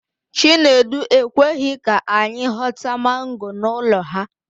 Chinedu ekweghi ka anyi ghọta mango n'ụlọ ha.